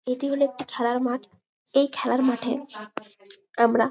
এটি হলো একটি খেলার মাঠ এই খেলার মাঠে আমরা --